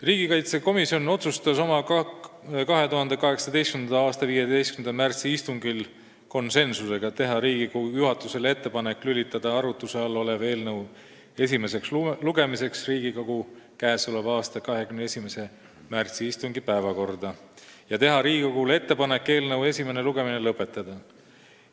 Riigikaitsekomisjon otsustas oma 2018. aasta 15. märtsi istungil teha Riigikogu juhatusele ettepaneku lülitada arutuse all olev eelnõu esimeseks lugemiseks Riigikogu k.a 21. märtsi istungi päevakorda ja teha Riigikogule ettepaneku eelnõu esimene lugemine lõpetada.